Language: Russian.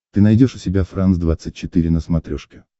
ты найдешь у себя франс двадцать четыре на смотрешке